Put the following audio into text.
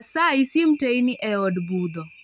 Asayi sim teyni eod budho